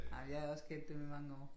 Ej men jeg har også kendt dem i mange år